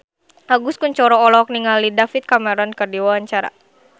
Agus Kuncoro olohok ningali David Cameron keur diwawancara